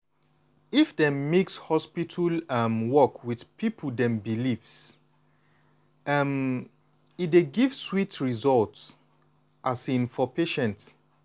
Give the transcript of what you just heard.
if dem mix hospital um work with people dem beliefs um e dey give sweet result um for patient.